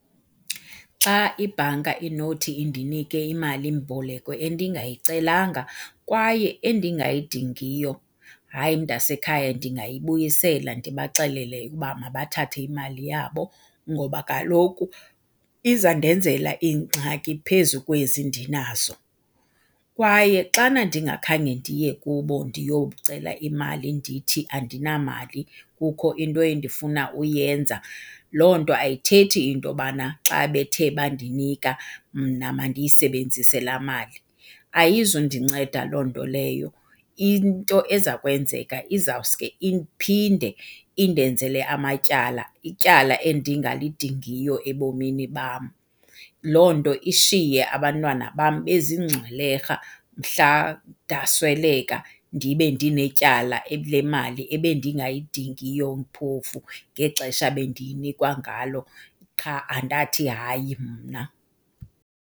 Xa ibhanka inothi indinike imali-mboleko endingayicelanga kwaye endingayidingiyo, hayi, mntasekhaya, ndingayibusela ndibaxelele ukuba mabathathe imali yabo ngoba kaloku izandenzela iingxaki phezu kwezi ndinazo. Kwaye xana ndingakhange ndiye kubo ndiyokucela imali ndithi andinamali kukho into endifuna uyenza, loo nto ayithethi into yobana xa bethe bandinika mna mandiyisebenzise la mali. Ayizundinceda loo nto leyo. Into eza kwenzeka izawuske iphinde indenzele amatyala, ityala endingalidingiyo ebomini bam. Loo nto ishiye abantwana bam bezingxwelerha mhla ndasweleka ndibe ndinetyala lemali ebendingayidingiyo phofu ngexesha bendiyinikwa ngalo, qha andathi hayi mna.